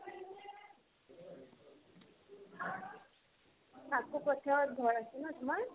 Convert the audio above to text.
কাকো পথাৰত ঘৰ আছিল ন তোমাৰ ?